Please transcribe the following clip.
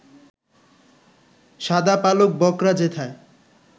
শাদা পালক বকরা যেথায়